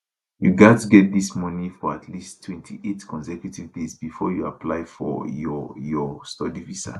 you gatz get dis money for at least 28 consecutive days bifor you apply for your your study visa